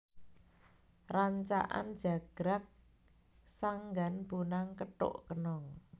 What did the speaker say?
Rancakan jagrag sanggan bonang kethuk kenong